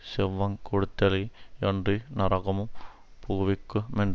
செவ்வங் கெடுத்தலே யன்றி நரகமும் புகுவிக்கு மென்